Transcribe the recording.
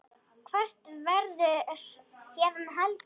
Hvert verður héðan haldið?